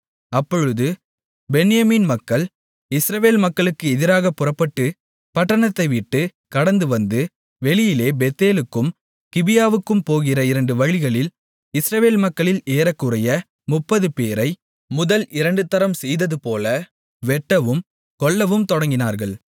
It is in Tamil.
அப்பொழுது பென்யமீன் மக்கள் இஸ்ரவேல் மக்களுக்கு எதிராகப் புறப்பட்டுப் பட்டணத்தை விட்டு கடந்து வந்து வெளியிலே பெத்தேலுக்கும் கிபியாவுக்கும் போகிற இரண்டு வழிகளில் இஸ்ரவேல் மக்களில் ஏறக்குறைய 30 பேரை முதல் இரண்டுதரம் செய்ததுபோல வெட்டவும் கொல்லவும் தொடங்கினார்கள்